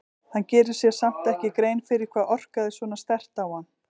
Hann gerir sér samt ekki grein fyrir hvað orkaði svona sterkt á hann.